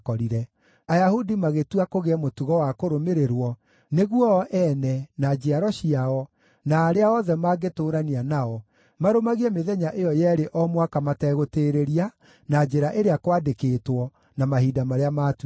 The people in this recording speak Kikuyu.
Ayahudi magĩĩtua kũgĩe mũtugo wa kũrũmĩrĩrwo, nĩguo o ene, na njiaro ciao, na arĩa othe mangĩtũũrania nao, marũmagie mĩthenya ĩyo yeerĩ o mwaka mategũtĩĩrĩria, na njĩra ĩrĩa kwandĩkĩtwo, na mahinda marĩa maatuĩtwo.